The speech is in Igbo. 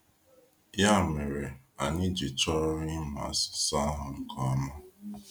Ya mere, anyị ji chọrọ ịmụ asụsụ ahụ nke ọma.